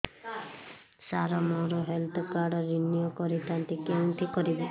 ସାର ମୋର health card renew କରିଥାନ୍ତି କେଉଁଠି କରିବି